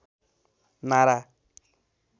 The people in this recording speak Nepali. नारा